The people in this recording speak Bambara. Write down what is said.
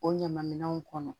O ɲama minɛnw kɔnɔ